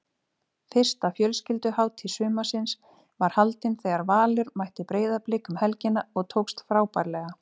Fyrsta fjölskylduhátíð sumarsins var haldin þegar Valur mætti Breiðablik um helgina og tókst frábærlega.